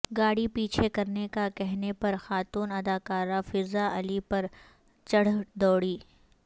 گاڑی پیچھے کرنے کا کہنے پر خاتون اداکارہ فضاء علی پر چڑھ دوڑی